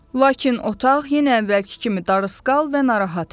Lakin otaq yenə əvvəlki kimi darısqal və narahat idi.